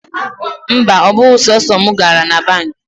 Mba, ọ bụghị sọsọ mụ gara na banki.